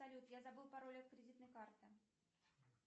салют я забыл пароль от кредитной карты